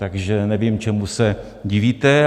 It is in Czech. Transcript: Takže nevím, čemu se divíte.